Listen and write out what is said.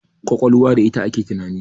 ƙwaƙwalwa da ita ake tunani